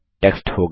text होगा